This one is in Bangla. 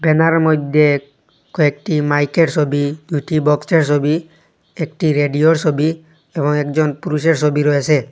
ব্যানারের মধ্যে কয়েকটি মাইকের ছবি দুইটি বক্সের ছবি একটি রেডিওর ছবি এবং একজন পুরুষের ছবি রয়েছে।